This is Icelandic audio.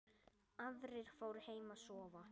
Aðrir fóru heim að sofa.